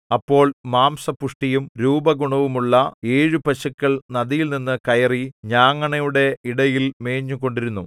അപ്പോൾ മാംസപുഷ്ടിയും രൂപഗുണവുമുള്ള ഏഴു പശുക്കൾ നദിയിൽനിന്നു കയറി ഞാങ്ങണയുടെ ഇടയിൽ മേഞ്ഞുകൊണ്ടിരുന്നു